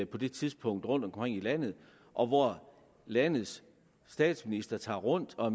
på det tidspunkt rundtomkring i landet og hvor landets statsminister tog rundt og